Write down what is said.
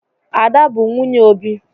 Ada bụ nwunye Obi.